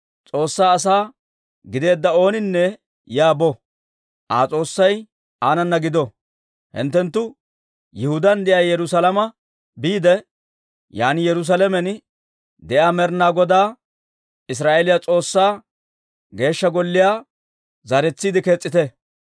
S'oossaa asaa gideedda ooninne yaa bo. Aa S'oossay aanana gido! Hinttenttu Yihudaan de'iyaa Yerusaalame biide, yaan Yerusaalamen de'iyaa Med'inaa Godaa, Israa'eeliyaa S'oossaa Geeshsha Golliyaa zaaretsiide kees's'ite.